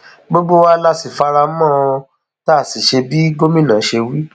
gbogbo wa la sì fara mọ ọn tá a sì ṣe bí gómìnà ṣe wí